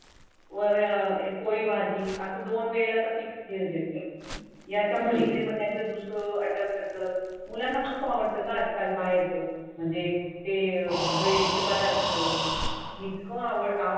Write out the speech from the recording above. वर अह पोळी भाजी असं दोन वेळा तर फिक्स देते. या मुलीकडे मग त्याचं दुसरं असतात. मुलांना खूप आवडतो घा आजकल बाहेरचा म्हणजे ते अं ब्रेडचे पदार्थ इतकं आवडत.